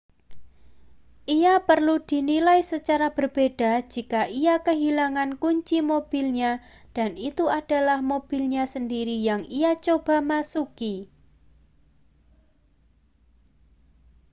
ia perlu dinilai secara berbeda jika ia kehilangan kunci mobilnya dan itu adalah mobilnya sendiri yang ia coba masuki